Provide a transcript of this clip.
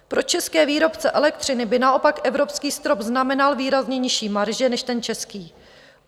Pro české výrobce elektřiny by naopak evropský strop znamenal výrazně nižší marže než ten český.